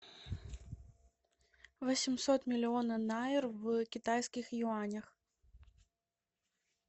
восемьсот миллионов найр в китайских юанях